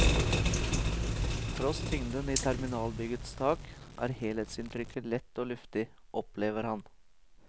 Tross tyngden i terminalbyggets tak, er helhetsinntrykket lett og luftig, opplever han.